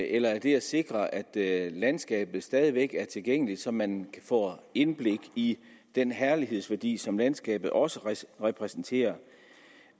eller er det at sikre at at landskabet stadig væk er tilgængeligt så man får indblik i den herlighedsværdi som landskabet også repræsenterer